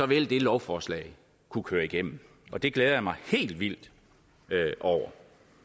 vil det lovforslag kunne køre igennem og det glæder jeg mig helt vildt over